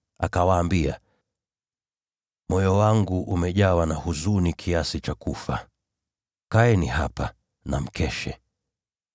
Akawaambia, “Moyo wangu umejawa na huzuni kiasi cha kufa. Kaeni hapa na mkeshe.”